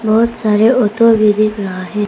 बहुत सारे ऑटो भी दिख रहा है।